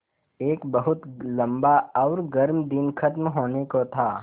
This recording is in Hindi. एक बहुत लम्बा और गर्म दिन ख़त्म होने को था